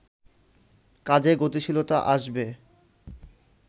কাজে গতিশীলতা আসবে